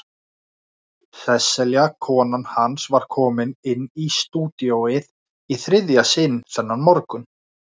Sesselja kona hans var kominn inn í stúdíóið í þriðja sinn þennan morgun.